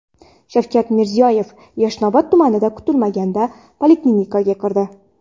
Shavkat Mirziyoyev Yashnobod tumanida kutilmaganda poliklinikaga kirdi.